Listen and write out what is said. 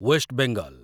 waste Bengal